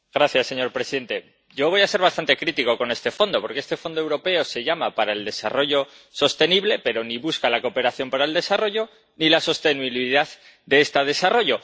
Señor presidente, yo voy a ser bastante crítico con este Fondo, porque este Fondo Europeo se llama de Desarrollo Sostenible, pero ni busca la cooperación para el desarrollo ni la sostenibilidad de este desarrollo.